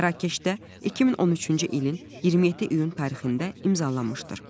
Mərakeşdə 2013-cü ilin 27 iyun tarixində imzalanmışdır.